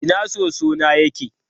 Ina soso na yake?